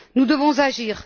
Nous devons agir.